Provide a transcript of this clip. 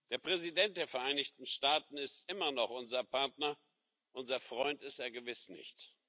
Der Präsident der Vereinigten Staaten ist immer noch unser Partner, unser Freund ist er gewiss nicht.